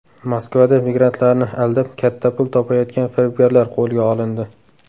Moskvada migrantlarni aldab katta pul topayotgan firibgarlar qo‘lga olindi.